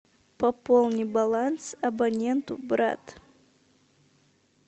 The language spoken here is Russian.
пополни баланс абоненту брат